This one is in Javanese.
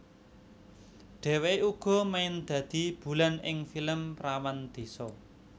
Dheweke uga main dadi Bulan ing film Perawan Désa